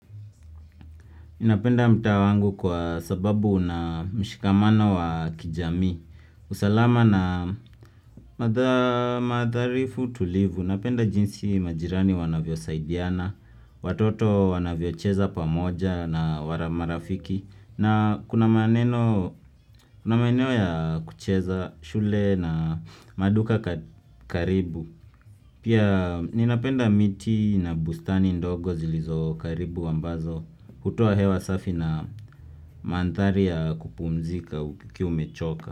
Ninapenda mtaa wangu kwa sababu unamshikamano wa kijami. Usalama na madharifu tulivu. Napenda jinsi majirani wanavyosaidiana, watoto wanavyocheza pamoja na marafiki. Na kuna maeneo ya kucheza, shule na maduka karibu. Pia ninapenda miti na bustani ndogo zilizo karibu ambazo. Hutoa hewa safi na mandhari ya kupumzika ukiwa umechoka.